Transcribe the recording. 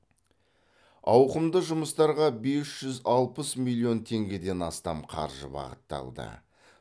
ауқымды жұмыстарға бес жүз алпыс миллион теңгеден астам қаржы бағытталды